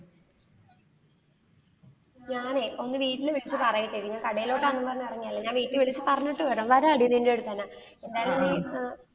ഞാനേ ഒന്നു വീട്ടില് വിളിച്ചു പറയട്ടെ ഞാൻ കടയിലോട്ട് ആണെന്നും പറഞ്ഞ് ഇറങ്ങിയ, ഞാൻ വീട്ടിൽ വിളിച്ചു പറഞ്ഞിട്ട് വരാം. വരാടി നിന്റെ അടുത്ത് തന്നെ എന്തായാലും നീ ആ.